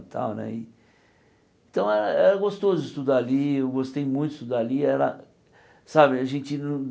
Tal né e então era era gostoso estudar ali, eu gostei muito de estudar ali. E era sabe a gente não